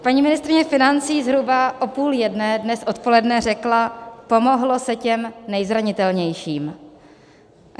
Paní ministryně financí zhruba o půl jedné dnes odpoledne řekla: Pomohlo se těm nejzranitelnějším.